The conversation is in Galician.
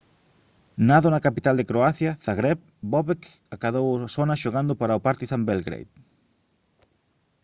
nado na capital de croacia zagreb bobek acadou sona xogando para o partizan belgrade